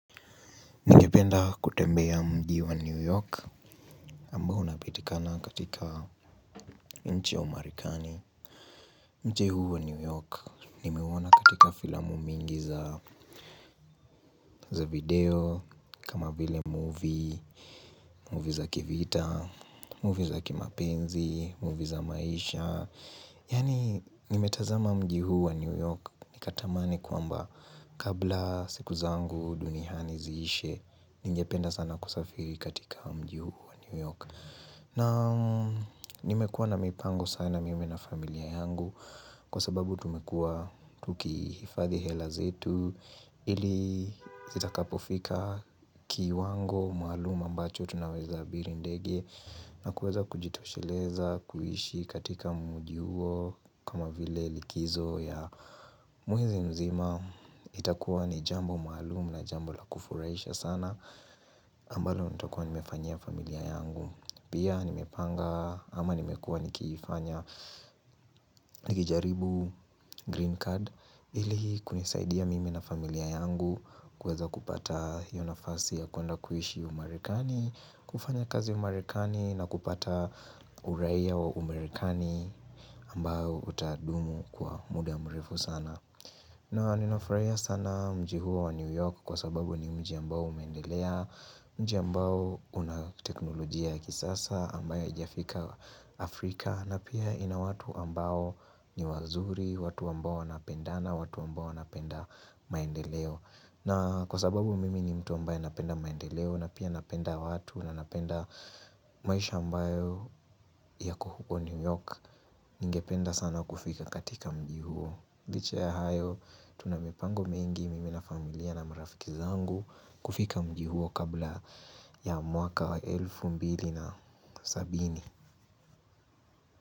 Ningependa kutembea mji wa New York ambao unapatikana katika nchi ya umarekani Mji huu wa New York nimeuona katika filamu mingi za video kama vile movie, movie za kivita, movie za kimapenzi, movie za maisha Yaani nimetazama mji huu wa New York Nikatamani kwamba kabla siku zangu duniani ziishe Ningependa sana kusafiri katika mji huu wa New York na nimekuwa na mipango sana mimi na familia yangu Kwa sababu tumekuwa tukihifadhi hela zetu ili zitakapofika kiwango maalum ambacho Tunaweza abiri ndege na kuweza kujitosheleza kuishi katika mji huo kama vile likizo ya mwezi mzima itakuwa ni jambo maalum na jambo la kufurahisha sana ambalo nitakuwa nimefanyia familia yangu Pia nimepanga ama nimekuwa nikijaribu green card ili kunisaidia mimi na familia yangu kuweza kupata hiyo nafasi ya kwenda kuishi umarekani kufanya kazi umarekani na kupata uraia wa umarekani ambao utadumu kwa muda mrefu sana na ninafurahia sana mji huo wa New York kwa sababu ni mji ambao umeendelea Mji ambao una teknolojia ya kisasa ambayo haijafika Afrika na pia ina watu ambao ni wazuri, watu ambao wanapendana, watu ambao wanapenda maendeleo na kwa sababu mimi ni mtu ambaye napenda maendeleo na pia napenda watu na napenda maisha ambayo yako huko New York Ningependa sana kufika katika mji huo licha ya hayo tuna mipango mingi mimi na familia na marafiki zangu kufika mji huo kabla ya mwaka wa elfu mbili na sabini.